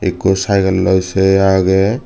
ikko cycle loi se agey.